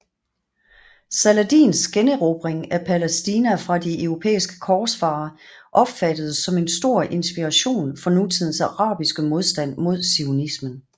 Saladins generobring af Palæstina fra de europæiske korsfarere opfattedes som en stor inspiration for nutidens arabiske modstand mod zionismen